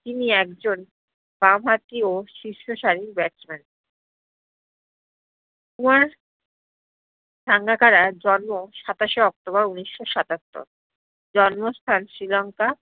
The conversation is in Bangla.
তিনি একজন বাম হাতিয় শীর্স্শালি batsman কুমার সাঙ্গাকারার জন্ম সাতাসে অক্টোবর উনিশ্য সাতাত্তর জ্ন্মস্থান শ্রীলংকা,